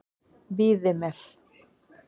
Víðimel